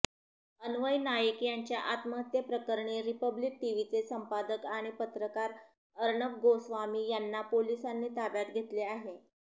अन्वय नाईक यांच्या आत्महत्येप्रकरणी रिपब्लिक टीव्हीचे संपादकआणि पत्रकार अर्णब गोस्वामी यांना पोलीसांनी ताब्यात घेतले आहे